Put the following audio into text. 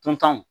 Duntanw